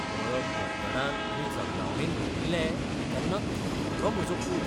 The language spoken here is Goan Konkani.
मळब गडगडान आनी जगलावणेन भरिल्लें तेन्ना थरथरलो म्हजो पूत.